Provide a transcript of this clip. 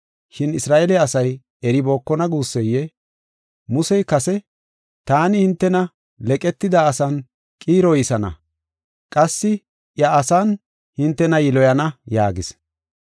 Shin Isra7eele asay eribookona guusseyee? Musey kase, “Taani hintena leqetida asan qiiroysana; qassi eeya asan hintena yiloyana” yaagis.